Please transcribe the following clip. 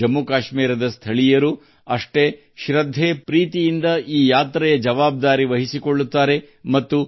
ಜಮ್ಮು ಕಾಶ್ಮೀರದ ಸ್ಥಳೀಯ ಜನರು ಈ ಯಾತ್ರೆಯ ಜವಾಬ್ದಾರಿಯನ್ನು ಸಮಾನ ಪೂಜ್ಯತೆಯಿಂದ ವಹಿಸಿ ಕೊಳ್ಳುತ್ತಾರೆ ಮತ್ತು